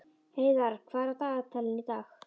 Heiðarr, hvað er á dagatalinu í dag?